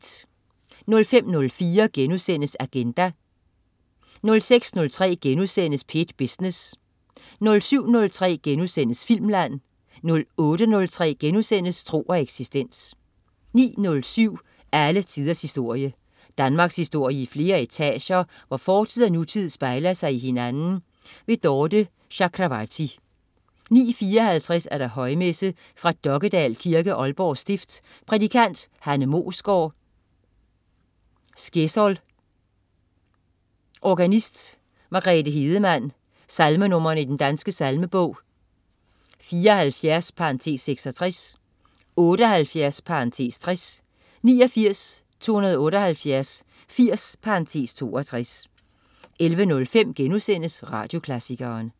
05.04 Agenda* 06.03 P1 Business* 07.03 Filmland* 08.03 Tro og eksistens* 09.07 Alle tiders historie. Danmarkshistorie i flere etager, hvor fortid og nutid spejler sig i hinanden. Dorthe Chakravarty 09.54 Højmesse. Fra Dokkedal Kirke, Aalborg stift. Prædikant: Hanne Moesgaard Skjesol. Organist: Margrethe Hedemann. Salmenr. i Den Danske Salmebog: 74 (66), 78 (60), 89, 278, 80 (62) 11.05 Radioklassikeren*